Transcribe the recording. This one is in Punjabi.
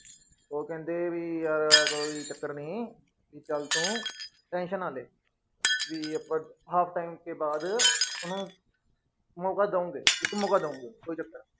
ਉਹ ਕਹਿੰਦੇ ਵੀ ਕੋਈ ਚੱਕਰ ਨੀ ਵੀ ਚੱਲ ਤੂੰ tension ਨਾ ਲੈ ਵੀ ਆਪਾਂ half time ਕੇ ਬਾਅਦ ਉਹਨੂੰ ਮੌਕਾ ਦਊਂਗੇ ਇੱਕ ਮੌਕਾ ਦਊਂਗੇ